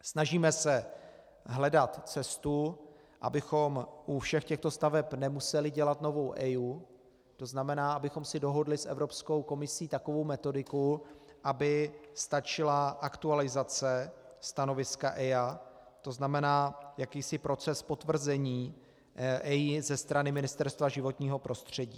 Snažíme se hledat cestu, abychom u všech těchto staveb nemuseli dělat novou EIA, to znamená abychom si dohodli s Evropskou komisí takovou metodiku, aby stačila aktualizace stanoviska EIA, to znamená jakýsi proces potvrzení EIA ze strany Ministerstva životního prostředí.